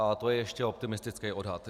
A to je ještě optimistický odhad.